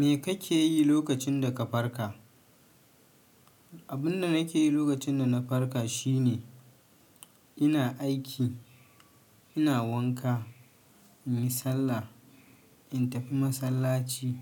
Me kake yi lokacin da ka farka? Abunda nake yi lokacin da na farka shine ina aiki, ina wanka, in yi sallah, in tafi masallaci.